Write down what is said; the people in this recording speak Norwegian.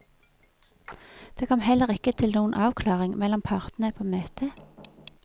Det kom heller ikke til noen avklaring mellom partene på møtet.